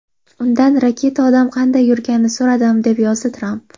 Undan raketa-odam qanday yurganini so‘radim”, deb yozdi Tramp.